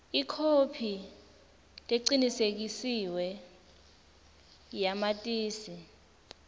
ikhophi lecinisekisiwe yamatisi